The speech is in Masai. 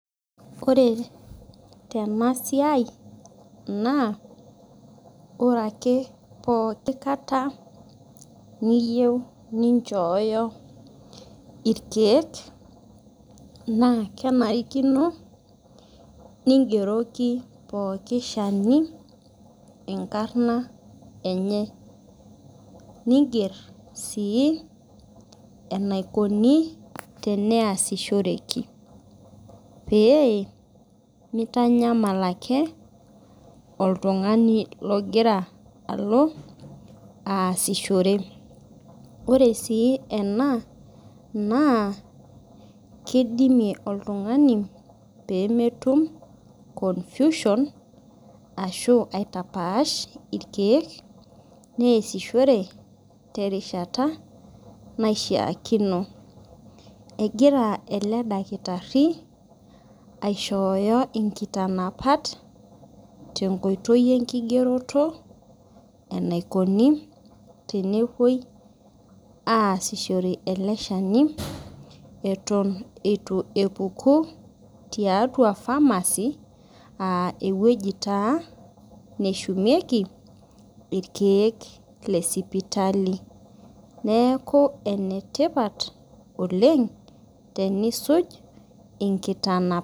Ore tenasiai na ore ake pooki kata keyieu ninchooyo irkiek na kenarikino ningeroki pooki shani enkarna enye ninger si enaikuni tenasishoreki pee mitanyamal ake oltungani ogira alo aasishore ore si ena na kidimi oltungani pemetum confusion ashu aitapaaah irkiek neasishore terishata naishaakino egira eledakitari aishooyo nkitanapat tenkoitoi enkigeroto enaikuni tenepuoi aasishore ele shani atan itu epuku tiatua ewueji naahumieki irkiek lesipitali neaku enetipat oleng tenisuj nkitanapat.